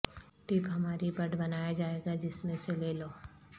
tape ہماری بڈ بنایا جائے گا جس میں سے لے لو